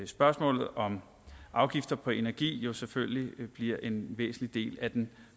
spørgsmålet om afgifter på energi jo selvfølgelig bliver en væsentlig del af den